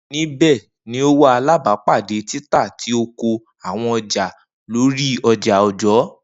Nibẹ ni o wa alabapade tita ti oko awọn ọja lori oja ọjọ